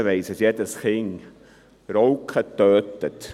Mittlerweile weiss jedes Kind, dass Rauchen tödlich ist.